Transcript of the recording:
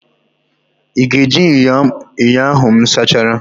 Ị ga-eji ṅyọ ahụ m sachara?